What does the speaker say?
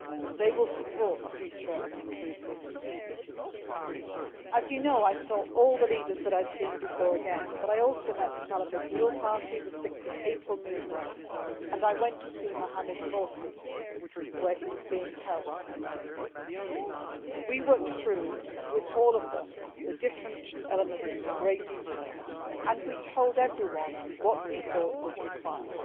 they will support the future of an inclusive Egypt As you know, I saw again all the leaders that I had seen before, but I also met the Salafist Nour party, the 6 April Movement and I went to see Mohammed Morsi where he was being held. With all them we worked through the different elements in great detail and we told everyone what we thought was required.